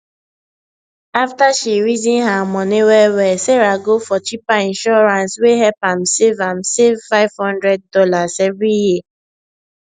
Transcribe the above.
after she reason her money wellwell sarah go for cheaper insurance wey help am save am save five hundred dollars every year